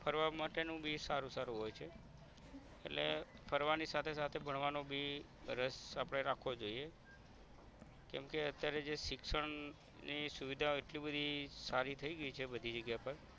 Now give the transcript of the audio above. ફરવા માટેનું બી સારુ સારુ હોય છે એટલે ફરવાની સાથે સાથે ભણવાનું બી રસ આપણે રાખવો જોઇયે કેમ કે અત્યારે જે શિક્ષણ ની સુવિધા એટલી બધી સારી થઈ ગઈ છે બધી જગ્યા પર